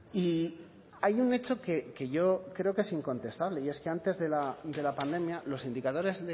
y hay un hecho que yo creo que es incontestable y es que antes de la pandemia los indicadores